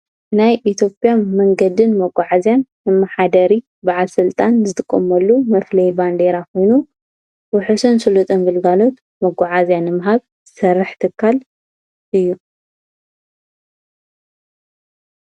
ናይ ኢትዮጴያ መንገድን መጕዓዝያን እምሓደሪ ብዓል ሥልጣን ዝትቆመሉ መፍለይ ባንዲይራ ኾይኑ ውሕስን ስሉጥም ብልጋሎት መጕዓእዝያን እምሃብ ዝሠርሕ ትካል እዩ።